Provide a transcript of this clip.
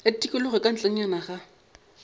ya tikologo ka ntlenyana ga